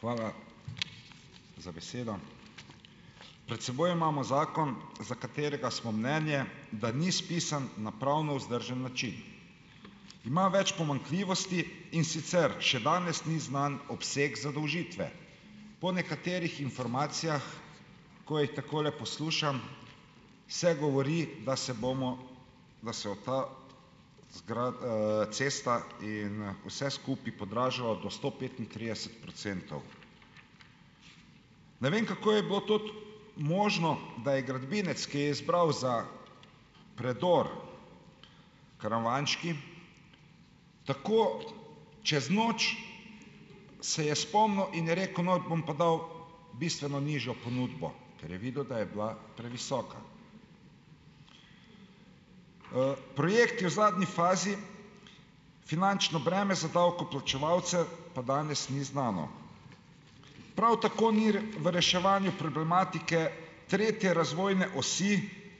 Hvala za besedo. Pred seboj imamo zakon, za katerega smo mnenja, da ni spisan na pravno vzdržen način. Ima več pomanjkljivosti, in sicer še danes ni znan obseg zadolžitve. Po nekaterih informacijah, ko jih takole poslušam, se govori, da se bomo, da se ta cesta in, vse skupaj podražilo do sto petintrideset procentov. Ne vem, kako je bilo tudi možno, da je gradbinec, ki je izbral za predor Karavanški tako čez noč, se je spomnil in je rekel: "No, bom pa dal bistveno nižjo ponudbo." Ker je videl, da je bila previsoka. Projekt je v zadnji fazi, finančno breme za davkoplačevalce, pa danes ni znano. Prav tako ni v reševanju problematike tretje razvojne osi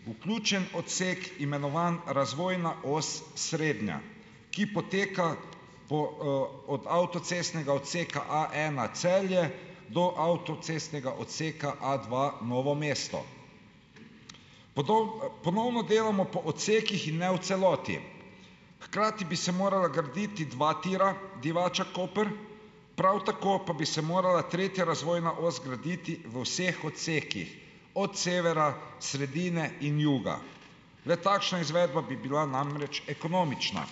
vključen odsek, imenovan razvojna os srednja, ki poteka po, od avtocestnega odseka A ena Celje do avtocestnega odseka A dva Novo mesto. ponovno delamo po odsekih in ne v celoti, hkrati bi se morala graditi dva tira Divača-Koper, prav tako pa bi se morala tretja razvojna os graditi v vseh odsekih, od severa, sredine in juga. Le takšna izvedba bi bila namreč ekonomična.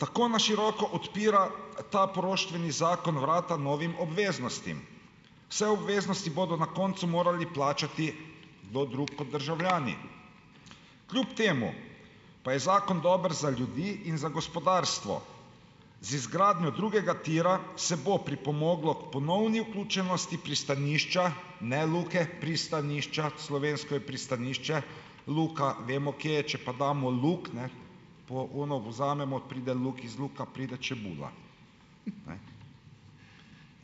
Tako na široko odpira ta poroštveni zakon vrata novim obveznostim, vse obveznosti bodo na koncu morali plačati kdo drug kot državljani. Kljub temu pa je zakon dober za ljudi in za gospodarstvo. Z izgradnjo drugega tira se bo pripomoglo k ponovni vključenosti pristanišča, ne Luke, pristanišča, slovensko je pristanišče, Luka vemo, kje je, če pa damo luk, po ono vzamemo, pride luk iz luka, pride čebula,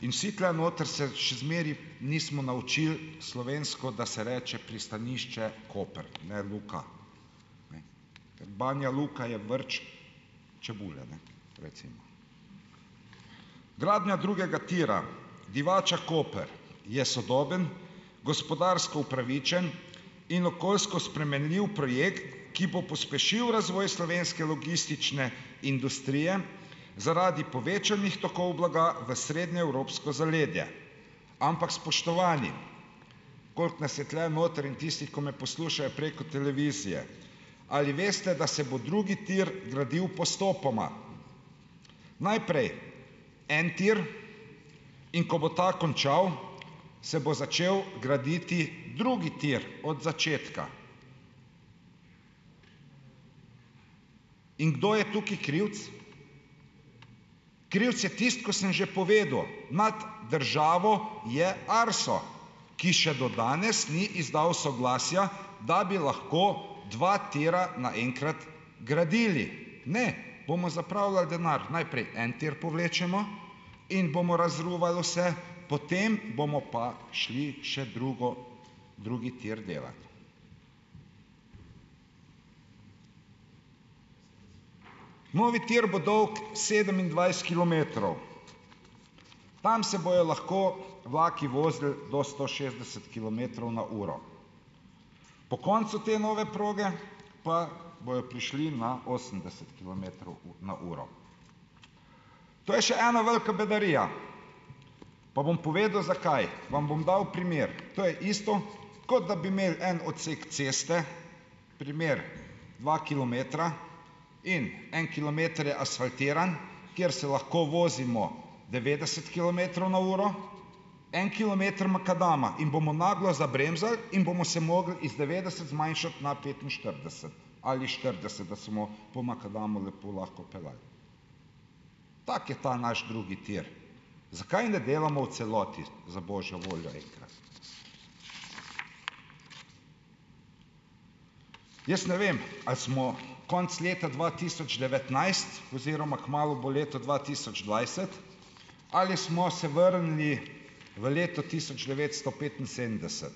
In vsi tule noter se še zmeraj nismo naučili slovensko, da se reče pristanišče Koper, ne Luka. Ker Banja Luka je vrč čebule, recimo. Gradnja drugega tira Divača-Koper je sodoben, gospodarsko upravičen in okoljsko spremenljiv projekt, ki bo pospešil razvoj slovenske logistične industrije zaradi povečanih tokov blaga v srednjeevropsko zaledje, ampak spoštovani, koliko nas je tule notri in tisti, ki me poslušajo preko televizije, ali veste, da se bo drugi tir gradil postopoma? Najprej en tir, in ko bo ta končal, se bo začel graditi drugi tir od začetka. In kdo je tukaj krivec? Krivec je tisto, ko sem že povedal, nad državo je ARSO, ki še do danes ni izdal soglasja, da bi lahko dva tira naenkrat gradili, ne, bomo zapravljali denar. Najprej en tir povlečemo in bomo razruvali vse, potem bomo pa šli še drugo drugi tir delat. Novi tir bo dolg sedemindvajset kilometrov, tam se bojo lahko vlaki vozili do sto šestdeset kilometrov na uro. Po koncu te nove proge pa bojo prišli na osemdeset kilometrov na uro. To je še ena velika bedarija, pa bom povedal, zakaj, vam bom dal primer. To je isto, kot da bi imeli en odsek ceste, primer: dva kilometra, in en kilometer je asfaltiran, kjer se lahko vozimo devetdeset kilometrov na uro, en kilometer makadama in bomo naglo zabremzali in bomo se mogli iz devetdeset zmanjšati na petinštirideset ali štirideset, da se po makadamu lepo lahko peljali. Tak je ta naš drugi tir, zakaj ne delamo v celoti, za božjo voljo enkrat. Jaz ne vem, ali smo konec leta dva tisoč devetnajst, oziroma kmalu bo leto dva tisoč dvajset, ali smo se vrnili v leto tisoč devetsto petinsedemdeset.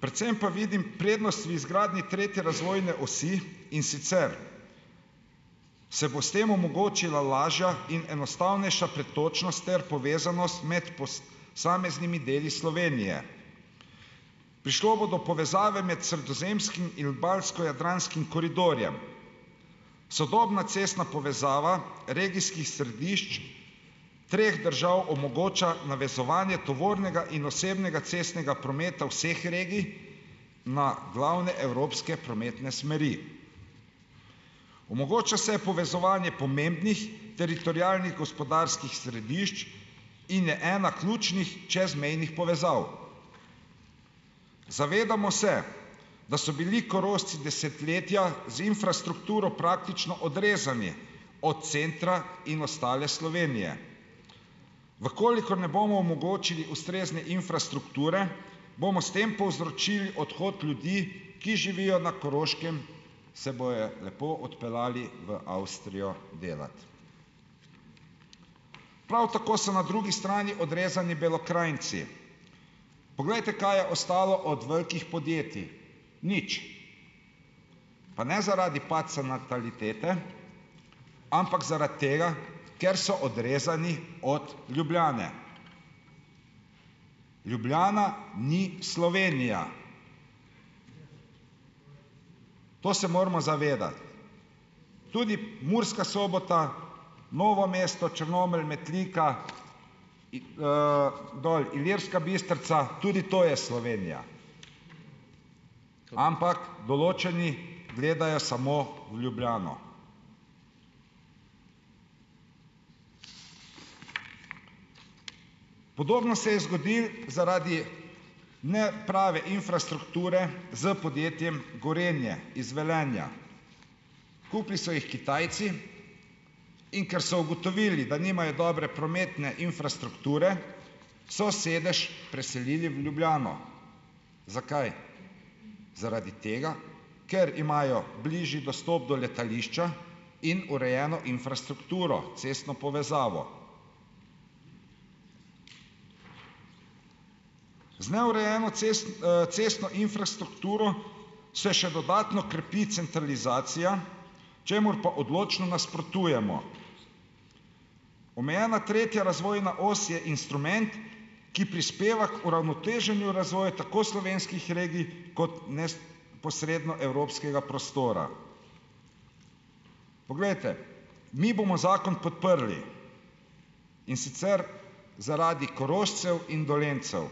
Predvsem pa vidim prednost v izgradnji tretje razvojne osi, in sicer se bo s tem omogočila lažja in enostavnejša pretočnost ter povezanost med deli Slovenije. Prišlo bo do povezave med sredozemskim in balsko-jadranskim koridorjem. Sodobna cestna povezava regijskih središč treh držav omogoča navezovanje tovornega in osebnega cestnega prometa vseh regij na glavne evropske prometne smeri. Omogoča se povezovanje pomembnih teritorialnih gospodarskih središč in je ena ključnih čezmejnih povezav. Zavedamo se, da so bili Korošci desetletja z infrastrukturo praktično odrezani od centra in ostale Slovenije. V kolikor ne bomo omogočili ustrezne infrastrukture, bomo s tem povzročili odhod ljudi, ki živijo na Koroškem, se bojo lepo odpeljali v Avstrijo delat. Prav tako so na drugi strani odrezani Belokranjci. Poglejte, kaj je ostalo od velikih podjetij. Nič. Pa ne zaradi padca natalitete, ampak zaradi tega, ker so odrezani od Ljubljane. Ljubljana ni Slovenija. To se moramo zavedati. Tudi Murska Sobota, Novo mesto, Črnomelj, Metlika, dol Ilirska Bistrca, tudi to je Slovenija. Ampak določeni gledajo samo v Ljubljano. Podobno se je zgodilo zaradi neprave infrastrukture s podjetjem Gorenje iz Velenja. Kupili so jih Kitajci. In ker so ugotovili, da nimajo dobre prometne infrastrukture, so sedež preselili v Ljubljano. Zakaj? Zaradi tega, ker imajo bližje dostop do letališča in urejeno infrastrukturo, cestno povezavo. Z neurejeno cestno infrastrukturo se še dodatno krepi centralizacija, čemur pa odločno nasprotujemo. Omejena tretja razvojna os je instrument, ki prispeva k uravnoteženju razvoju tako slovenskih regij kot posredno evropskega prostora. Poglejte, mi bomo zakon podprli, in sicer zaradi Korošcev in Dolenjcev,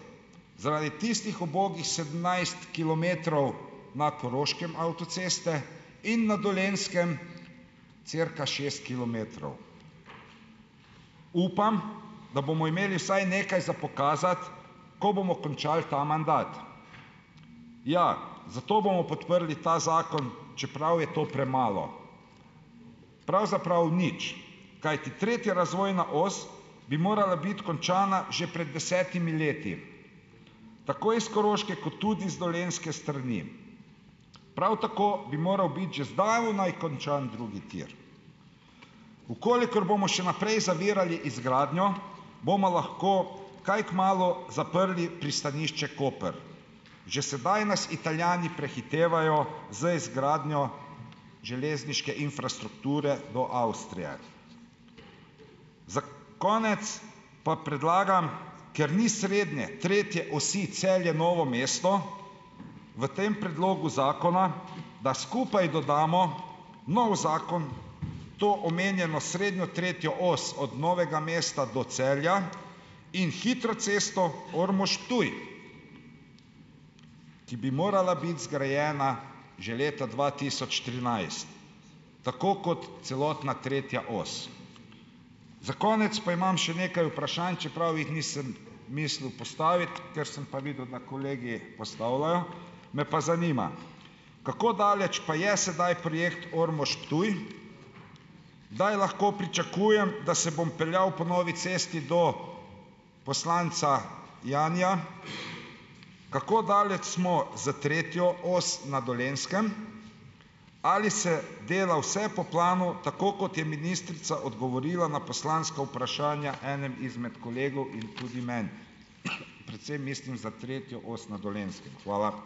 zaradi tistih ubogih sedemnajst kilometrov na Koroškem avtoceste in na Dolenjskem cirka šest kilometrov. Upam, da bomo imeli vsaj nekaj za pokazati, ko bomo končali ta mandat. Ja, zato bomo podprli ta zakon, čeprav je to premalo. Pravzaprav nič, kajti tretja razvojna os bi morala biti končana že pred desetimi leti tako iz koroške kot tudi z dolenjske strani. Prav tako bi moral biti že zdavnaj končan drugi tir. V kolikor bomo še naprej zavirali izgradnjo, bomo lahko kaj kmalu zaprli pristanišče Koper. Že sedaj nas Italijani prehitevajo z izgradnjo železniške infrastrukture do Avstrije. Za konec pa predlagam, ker ni srednje tretje osi Celje-Novo mesto v tem predlogu zakona, da skupaj dodamo novi zakon, to omenjeno srednjo tretjo os od Novega mesta do Celja in hitro cesto Ormož-Ptuj, ki bi morala biti zgrajena že leta dva tisoč trinajst, tako kot celotna tretja os. Za konec pa imam še nekaj vprašanj, čeprav jih nisem mislil postaviti. Ker sem pa videl, da kolegi postavljajo, me pa zanima, kako daleč pa je sedaj projekt Ormož-Ptuj. Kdaj lahko pričakujem, da se bom peljal po novi cesti do poslanca Janija? Kako daleč smo z tretjo osjo na Dolenjskem? Ali se dela vse po planu, tako, kot je ministrica odgovorila na poslanska vprašanja enemu izmed kolegov in tudi meni? Predvsem mislim za tretjo os na Dolenjskem. Hvala.